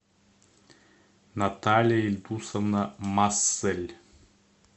наталья игусовна массель